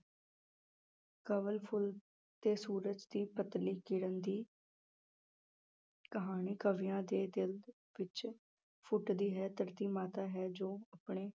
ਕੰਵਲ ਫੁੱਲ ਤੇ ਸੂਰਜ ਦੀ ਪਤਲੀ ਕਿਰਣ ਦੀ ਕਹਾਣੀ ਕਵੀਆਂ ਦੇ ਦਿਲ ਵਿੱਚ ਫੁੱਟਦੀ ਹੈ, ਧਰਤੀ ਮਾਤਾ ਹੈ ਜੋ ਆਪਣੇ